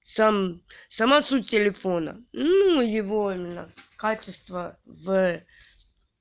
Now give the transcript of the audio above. сам сама суть телефона ну его именно качество в